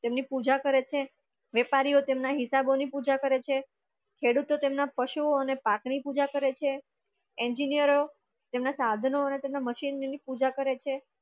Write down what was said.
તેમની પૂજા કરે છે, વેપારીઓ તેમની હિસાબોની પૂજા કરે છે, ખેડૂતો તેમના પશુઓ અને તેમના પાક ની પૂજા કરે છે engineers તમે સાધનો અને તેમના મશીન ની પૂજા કરે છે.